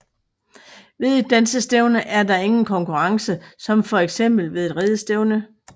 Ved et dansestævne er der ingen konkurrence som fx ved et ridestævne